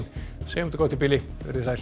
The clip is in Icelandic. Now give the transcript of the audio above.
segjum þetta gott í bili verið þið sæl